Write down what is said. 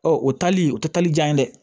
Ɔ o tali o tɛ tali diya ye dɛ